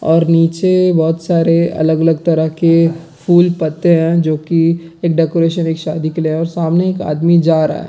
और नीचे बहुत सारे अलग-अलग तरह के फूल पत्ते हैं जो की एक डेकोरेशन एक शादी के लिए है और सामने एक आदमी जा रहा है।